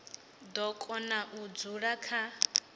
do kona u dzula kha